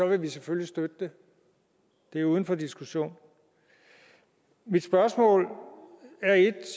vil vi selvfølgelig støtte det det er uden for diskussion mit spørgsmål er et